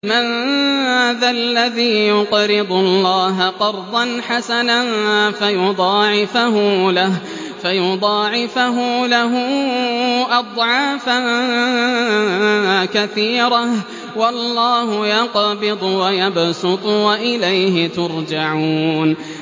مَّن ذَا الَّذِي يُقْرِضُ اللَّهَ قَرْضًا حَسَنًا فَيُضَاعِفَهُ لَهُ أَضْعَافًا كَثِيرَةً ۚ وَاللَّهُ يَقْبِضُ وَيَبْسُطُ وَإِلَيْهِ تُرْجَعُونَ